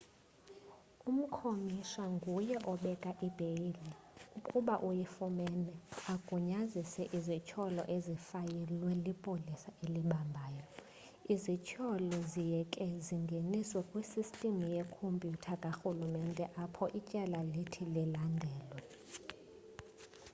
umkomishana nguye obeka ibheyile ukuba uyifumene agunyazise izithyolo ezifayilwe lipolisa elibambayo.izithyolo ziye ke zingeniswe kwisystem yekompyutha karhulumente apho ityala lithi lilandelelwe